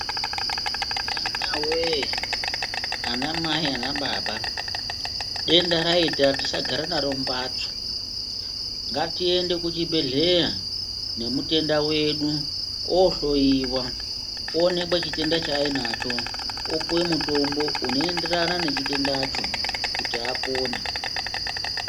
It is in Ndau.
Hamawee anamai naanababa, denda raita tisagara naro mumphatso, ngatiende kuchibhedhleya, nemutenda wedu, oohloiwa, oonekwe chitenda chaainacho, opuwe mutombo unoenderana nechitendacho, kuti apone.